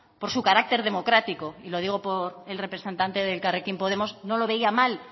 por su carácter democrático y lo digo por el representante del elkarrekin podemos no lo veía mal